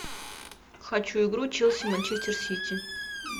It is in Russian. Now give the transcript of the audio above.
хочу игру челси манчестер сити